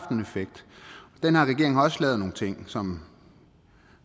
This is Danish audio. også lavet nogle ting som